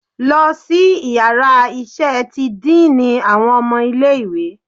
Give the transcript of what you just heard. Losí iyàrá iṣẹ tí diiní awọn ọmọ ilẹ̀ ìwé!